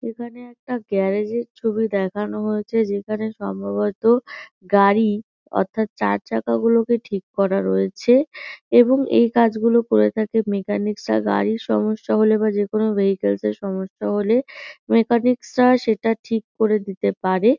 এখানে একটা গ্যারেজের ছবি দেখানো হয়েছে যেখানে সম্ভবত গাড়ি অর্থাৎ চারচাকাগুলিকে ঠিক করা রয়েছে। এবং এই কাজগুলো করে থাকে মেকানিকসরা গাড়ির সমস্যা হলে বা যেকোনো ভেহিকালসের সমস্যা হলে মেকানিকসরা সেটা ঠিক করে দিতে পারে।